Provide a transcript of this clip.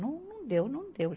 Não, não deu, não deu.